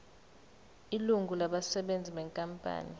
ilungu labasebenzi benkampani